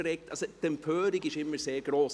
Die Empörung ist immer sehr gross.